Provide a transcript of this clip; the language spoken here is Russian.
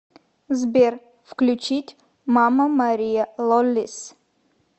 сбер включить мама мария лоллис